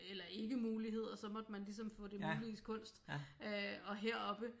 Eller ikke muligheder så måtte man ligesom få det muliges kunst øh og heroppe